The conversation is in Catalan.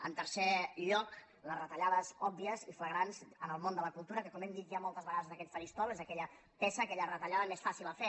en tercer lloc les retallades òbvies i flagrants en el món de la cultura que com hem dit ja moltes vegades des d’aquest faristol és aquella peça aquella retallada més fàcil a fer